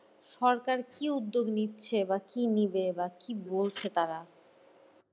সরকার কি উদ্যোগ নিচ্ছে বা কি নেবে বা কি বলছে তারা?